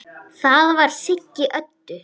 Það var Siggi Öddu.